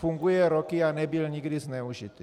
Funguje roky a nebyl nikdy zneužit.